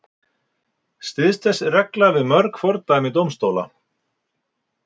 Styðst þessi regla við mörg fordæmi dómstóla.